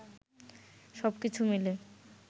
সবকিছু মিলে